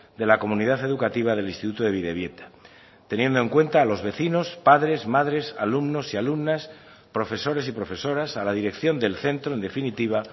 de la comunidad educativa del instituto de bidebieta teniendo en cuenta a los vecinos padres madres alumnos y alumnas profesores y profesoras a la dirección del centro en definitiva